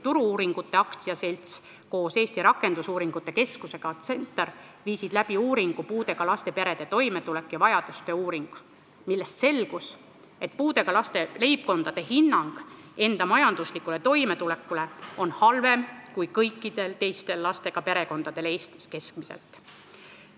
Turu-uuringute AS koos Eesti Rakendusuuringute Keskusega CentAR viisid läbi uuringu "Puuetega lastega perede toimetuleku ja vajaduste uuring", millest selgus, et puudega laste leibkondade hinnang enda majanduslikule toimetulekule on halvem kui kõikidel teistel lastega perekondadel Eestis keskmiselt.